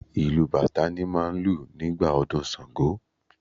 Ìlù bàtá ni máà ń lù nígbà ọdún ṣàngó